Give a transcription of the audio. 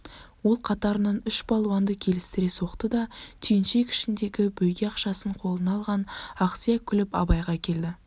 ол қатарынан үш балуанды келістіре соқты да түйіншек ішіндегі бөйге акшасын қолына алған ақсия күліп абайға келді